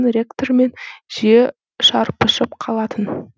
ректормен жиі шарпысып қалатын